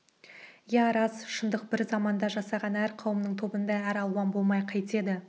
иә рас шындық бір заманда жасаған әр қауымның тобыңда әр алуан болмай қайтеді